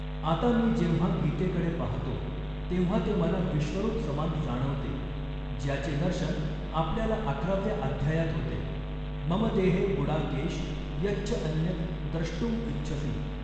आता मी जेव्हा गीतेकडे पाहतो, तेव्हा ते मला विश्वरूप समान जाणवते, ज्याचे दर्शन आपल्याला अकराव्या अध्यायात होते, मम देहे गुडाकेश यच्च अन्यत् द्रष्टुम इच्छसि।